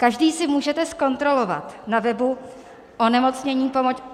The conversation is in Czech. Každý si můžete zkontrolovat na webu onemocneni-aktualne.mzcr.cz